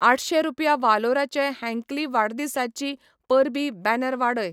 आठशे रुपया वालोराचे हँकली वाडदिसाचीं परबीं बॅनर वाडय.